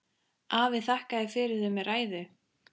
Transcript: Afi þakkaði fyrir þau með ræðu.